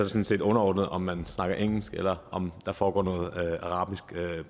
set underordnet om man snakker engelsk eller om der foregår noget